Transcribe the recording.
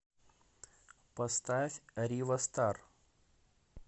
поставь рива стар